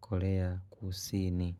korea kusini.